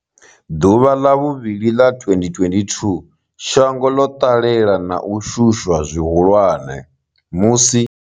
Ḓuvha ḽa vhuvhili ḽa 2022, shango ḽo ṱalela na u shushwa zwihulwane musi.